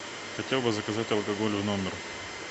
хотел бы заказать алкоголь в номер